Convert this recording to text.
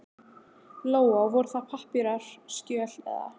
Lóa: Voru það pappírar, skjöl eða?